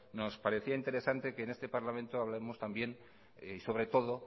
nos parecía interesante que en este parlamento hablemos también sobre todo